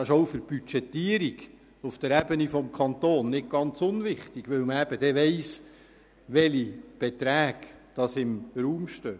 Das ist auch für die Budgetierung auf der Kantonsebene nicht ganz unwichtig, weil man dann weiss, welche Beträge im Raum stehen.